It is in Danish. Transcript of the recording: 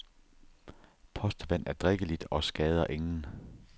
Postevand er drikkeligt og skader ingen.